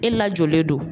E lajɔlen don